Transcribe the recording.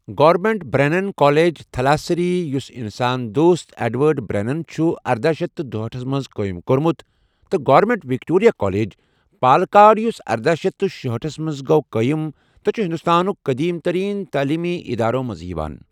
Government Brennen College, Thalassery, یُس انسان دوست ایڈورڈ بریننَن چھُ ارداہ شیتھ تہٕ دُہأٹھس منٛز قٲیِم کوٚرمُت، تہٕ گورنمنٹ وکٹوریہ کالج، پالکاڈ، یُس ارداہ شیتھ تہٕ شُہأٹھ منٛز گوٚو قٲیِم، تہٕ چھُ ہندوستانُک قٔدیٖم تریٖن تٔعلیمی ادارو منٛز یِوان۔